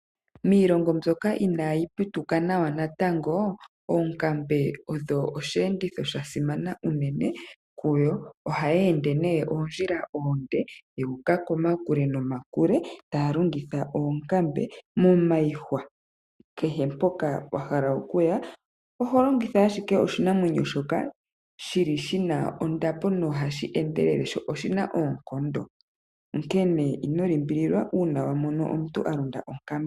Miilongo mbyoka inayi putuka nawa natango oonkambe odho osheenditho sha simana unene kuyo. Ohaya ende nee oondjila oonde yu uka kokule miihwa. kehe mpoka wahala okuya oholongitha ashike oshinamwenyo shoka shili shina ondapo sho oshina oonkondo .Onkene ino limbililwa uuna wamono onkambe .